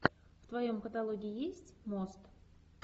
в твоем каталоге есть мост